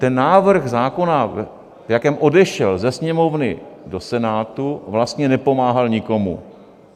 Ten návrh zákona, v jakém odešel ze Sněmovny do Senátu, vlastně nepomáhal nikomu.